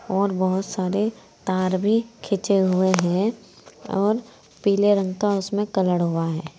और बहोत सारे तार भी खींचे हुए है और पीले रंग का उसमें कलर हुआ है।